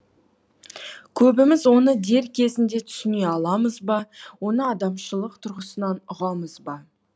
көбіміз оны дер кезінде түсіне аламыз ба оны адамшылық тұрғысынан ұғамыз ба